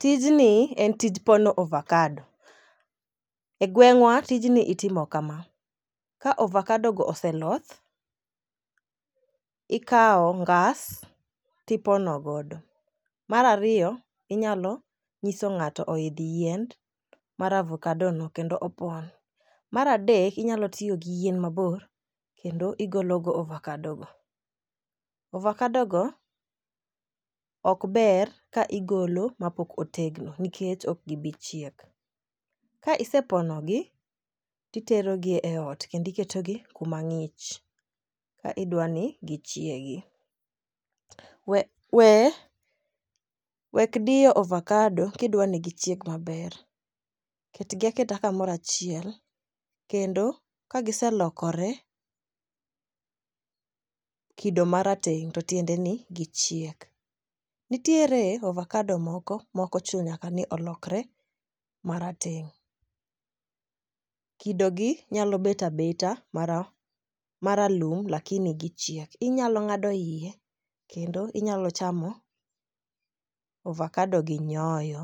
Tijni en tij pono ovakado . E gweng'wa tijni itimo kama ka ovakado go oseloth, ikawo ngas tipono godo. Mar ariyo inyalo nyiso ng'ato oidh yien mar ovokado no kendo opon, mar adek inyalo tiyo gi yien mabor kendo igolo go ovakado go. Ovokado go ok ber ka igolo mapok otegno nikech ok gibi chiek . Ka isepono gi to itero gi e ot kendo iketo gi kuma ng'ich ka idwani gichiegi. We we wek diyo ovokado ka idwani gichieg maber, ketgi aketa kamora chiel kendo ka giselokore kido marateng' to tiende ni gichiek. Nitiere ovokado mokochuno ni nyaka lokre marateng' .Kido gi nyalo bet abeta mara maralum lakini gichiek. Inyalo ng'ado iye kendo inyalo chamo ovakado gi nyoyo